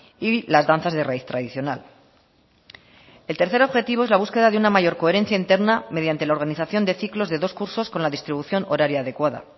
y las danzas de raíz tradicional el tercer objetivo es la búsqueda de una mayor coherencia interna mediante la organización de ciclos de dos cursos con la distribución horaria adecuada